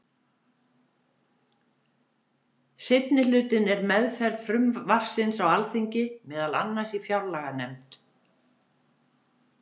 Seinni hlutinn er meðferð frumvarpsins á Alþingi, meðal annars í fjárlaganefnd.